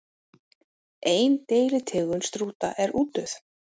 Ein deilitegund strúta er útdauð.